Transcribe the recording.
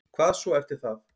Hvað svo eftir það?